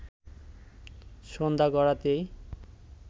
সন্ধ্যা গড়াতেই